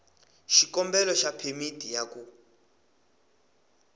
xikombelo xa phemiti ya ku